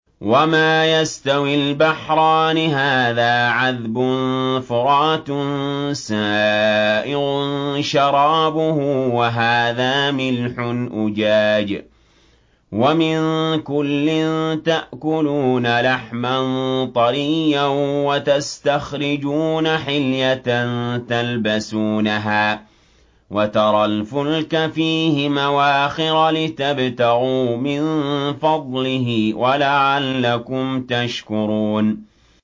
وَمَا يَسْتَوِي الْبَحْرَانِ هَٰذَا عَذْبٌ فُرَاتٌ سَائِغٌ شَرَابُهُ وَهَٰذَا مِلْحٌ أُجَاجٌ ۖ وَمِن كُلٍّ تَأْكُلُونَ لَحْمًا طَرِيًّا وَتَسْتَخْرِجُونَ حِلْيَةً تَلْبَسُونَهَا ۖ وَتَرَى الْفُلْكَ فِيهِ مَوَاخِرَ لِتَبْتَغُوا مِن فَضْلِهِ وَلَعَلَّكُمْ تَشْكُرُونَ